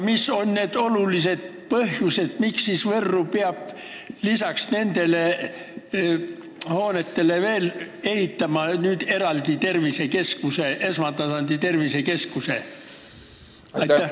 Mis on need olulised põhjused, miks peab Võrru lisaks nendele hoonetele veel ehitama eraldi esmatasandi tervisekeskuse?